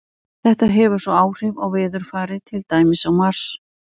Þetta hefur svo áhrif á veðurfarið, til dæmis á Mars.